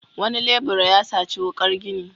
Wani lebura ya saci wuƙar gini.